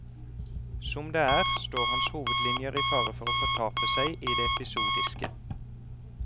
Som det er, står hans hovedlinjer i fare for å fortape seg i det episodiske.